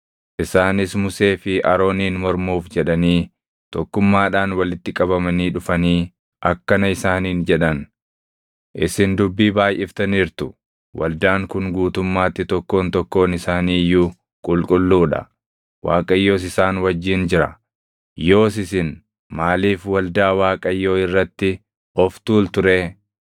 Isaanis Musee fi Arooniin mormuuf jedhanii tokkummaadhaan walitti qabamanii dhufanii akkana isaaniin jedhan; “Isin dubbii baayʼiftaniirtu! Waldaan kun guutummaatti tokkoon tokkoon isaanii iyyuu qulqulluu dha; Waaqayyos isaan wajjin jira. Yoos isin maaliif waldaa Waaqayyoo irratti of tuultu ree?”